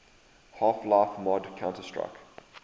half life mod counter strike